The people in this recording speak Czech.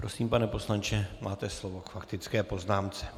Prosím, pane poslanče, máte slovo k faktické poznámce.